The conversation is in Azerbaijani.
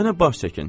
Mənə baş çəkin.